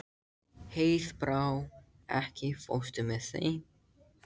Heiðbrá, ekki fórstu með þeim?